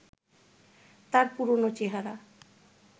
তার পুরনো চেহারা